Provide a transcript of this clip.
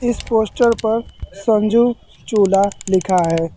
इस पोस्टर पर संजू चूल्हा लिखा है।